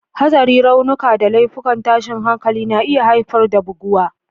Hatsari, raunuka, da laifukan tashin hankali na iya haifar da buguwa.